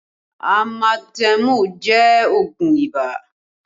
Amatemu jẹ́ oogun ibà